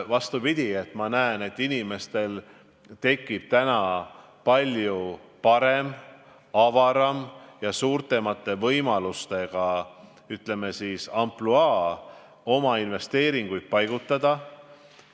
Vastupidi, ma näen, et inimestel tekib palju parem, avaram ja suuremate võimalustega, ütleme siis, ampluaa oma investeeringuid paigutada.